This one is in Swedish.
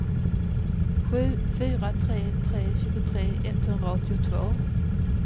sju fyra tre tre tjugotre etthundraåttiotvå